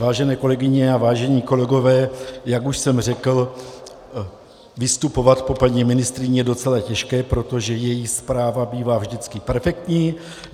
Vážené kolegyně a vážení kolegové, jak už jsem řekl, vystupovat po paní ministryni je docela těžké, protože její zpráva bývá vždycky perfektní.